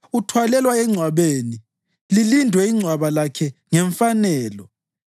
Uthwalelwa engcwabeni, lilindwe ingcwaba lakhe ngemfanelo.